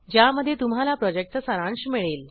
ज्यामध्ये तुम्हाला प्रॉजेक्टचा सारांश मिळेल